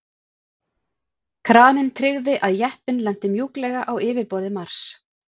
kraninn tryggði að jeppinn lenti mjúklega á yfirborði mars